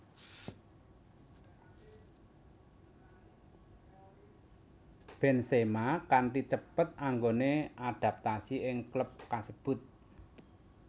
Benzema kanti cepet anggone adaptasi ing klub kasebut